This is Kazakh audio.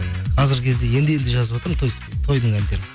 қазіргі кезде енді енді жазыватырмын тойдың әндерін